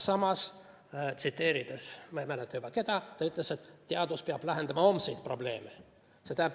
Samas, tsiteerides ma ei mäleta juba, keda, ta ütles, et teadus peab lahendama homseid probleeme.